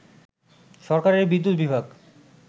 সরকারের বিদ্যুৎ বিভাগ